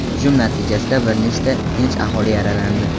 hujum natijasida bir nechta tinch aholi yaralandi.